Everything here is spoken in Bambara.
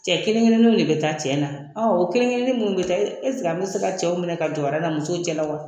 Cɛ kelen kelenninw de be taa cɛn na .Ɔn o kelen kelennin munnu be taa an be se ka cɛw minɛ ka jɔ aran na musow cɛla wa?